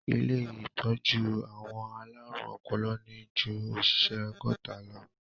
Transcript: Ilé ìtọ́jú àwọn alárùn ọpọlọ ní ju òṣìṣẹ́ ọgọ́ta lọ.